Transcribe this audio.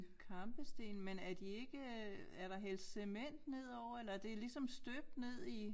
Kampesten men er de ikke øh er der hældt cement nedover eller er det ligesom støbt ned i